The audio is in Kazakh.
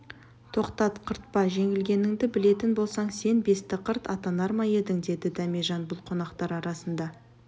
тоқтат қыртпа жеңілгеніңді білетін болсаң сен бестіқырт атанар ма едің деді дәмежан бұл қонақтар арасында